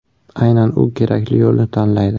Aynan u kerakli yo‘lni tanlaydi.